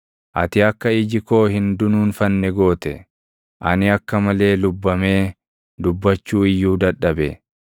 Ati akka iji koo hin dunuunfanne goote; ani akka malee lubbamee dubbachuu iyyuu dadhabe.